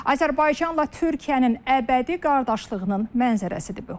Azərbaycanla Türkiyənin əbədi qardaşlığının mənzərəsidir bu.